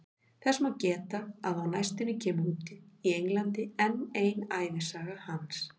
Þess má geta að á næstunni kemur út í Englandi enn ein ævisaga hans.